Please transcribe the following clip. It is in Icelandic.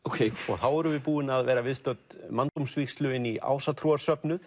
þá vorum við búin að vera viðstödd manndómsvígslu inn í